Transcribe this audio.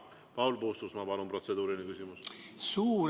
Paul Puustusmaa, palun, protseduuriline küsimus!